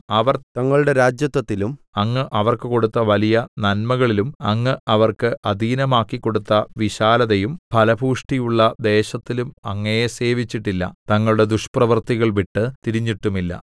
അവർ തങ്ങളുടെ രാജത്വത്തിലും അങ്ങ് അവർക്ക് കൊടുത്ത വലിയ നന്മകളിലും അങ്ങ് അവർക്ക് അധീനമാക്കിക്കൊടുത്ത വിശാലതയും ഫലപുഷ്ടിയുമുള്ള ദേശത്തിലും അങ്ങയെ സേവിച്ചിട്ടില്ല തങ്ങളുടെ ദുഷ്പ്രവൃത്തികൾ വിട്ട് തിരിഞ്ഞിട്ടുമില്ല